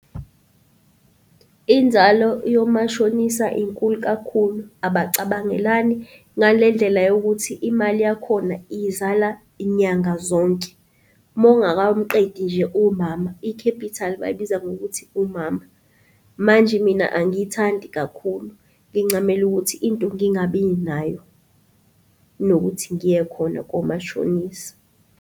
Inzalo yomashonisa inkulu kakhulu, abacabangelani ngale ndlela yokuthi imali yakhona izala nyanga zonke. Uma ungakamqedi nje umama, i-capital bayibiza ngokuthi umama manje mina angiyithandi kakhulu. Ngincamela ukuthi into ngingabi nayo kunokuthi ngiye khona komashonisa